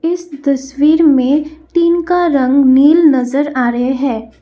इस तस्वीर में टीन का रंग नील नजर आ रहे हैं।